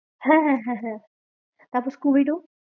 হ্যাঁ, হ্যাঁ হ্যাঁ, হ্যাঁ তারপর স্কুবিডু?